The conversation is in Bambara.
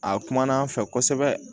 A kumana an fɛ kosɛbɛ